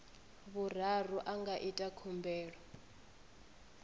vhuraru a nga ita khumbelo